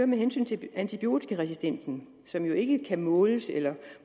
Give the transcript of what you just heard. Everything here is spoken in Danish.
med hensyn til antibiotikaresistensen som jo ikke kan måles eller